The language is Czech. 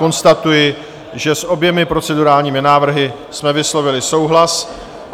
Konstatuji, že s oběma procedurálními návrhy jsme vyslovili souhlas.